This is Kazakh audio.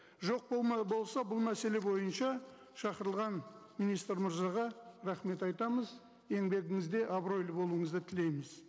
жоқ болса бұл мәселе бойынша шақырылған министр мырзаға рахмет айтамыз еңбегіңізде абыройлы болуыңызды тілейміз